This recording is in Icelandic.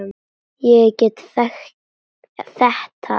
Ég get þetta ekki.